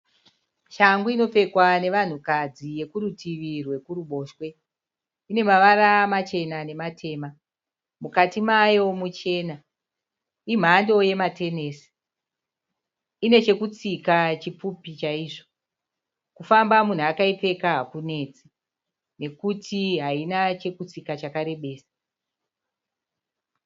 Shangu inopfekwa nevanhukadzi yekurutivi rwekuruboshwe. Ine mavara machena nematema. Mukati mayo muchena. Imhando yematenesi. Ine chekutsika chipfupi chaizvo. Kufamba munhu akaipfeka hakunetsi nekuti haina chekutsika chakarebesa.